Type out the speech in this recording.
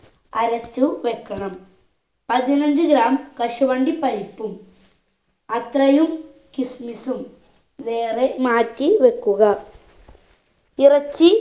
അരച്ചു വെക്കണം പതിനഞ്ച്‌ gram കശുവണ്ടി പരിപ്പും അത്രയും kismis ഉം വേറെ മാറ്റി വെക്കുക ഇറച്ചി